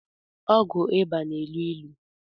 ọgwụ ịba na-elu ilu